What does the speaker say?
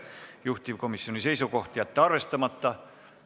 Juhtivkomisjoni seisukoht: jätta arvestamata.